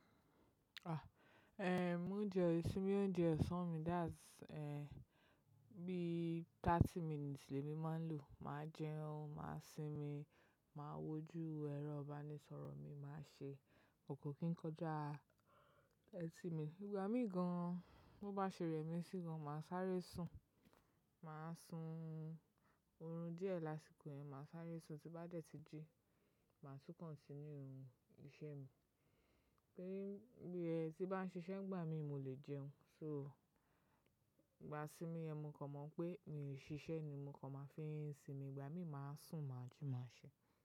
Ah, ehn, mo jẹun, isimi, óunje osan mi that's ehn, bí thirty minutes lè mi máa ń lò, màá jẹun, màá sinmi, màá wojú ẹrọ ìbánisọ̀rọ̀ mi, màá ṣe kọ̀ kan kí n kọjá etí mi. Ìgbà mí gan, bo bá ṣeré mi sí gan, màá sáré sùn. Màá sùn oorun díẹ̀ lásìkò yẹn, màá sáré sùn, tí bá dẹ̀ tí jí, màá tú continue ohun iṣẹ́ mi. Torí bí ẹti bá ń ṣiṣẹ́ ńgbà mí, mo lè jẹun. So, ìgbà isinmi mo kàn mọ̀ pé mi ò sí ṣiṣẹ́ ni mo kàn máa fi sìmi, ìgbà mí máa sùn, máa ji, máa ṣẹ.